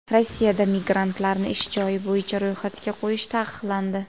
Rossiyada migrantlarni ish joyi bo‘yicha ro‘yxatga qo‘yish taqiqlandi.